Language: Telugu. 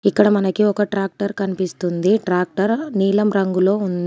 ఇక్కడ మనకి ఒక ట్రాక్టర్ కన్పిస్తుంది ట్రాక్టర్ నీలం రంగులో ఉంది.